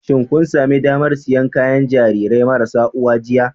Shin kun sami damar siyan kayan gidan Jarirai marasa uwa jiya